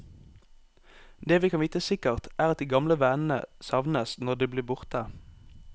Det vi kan vite sikkert, er at de gamle vennene savnes når de blir borte.